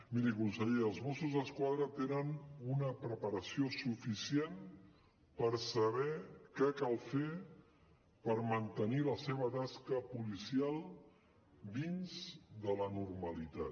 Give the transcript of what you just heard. miri conseller els mossos d’esquadra tenen una preparació suficient per saber què cal fer per mantenir la seva tasca policial dins de la normalitat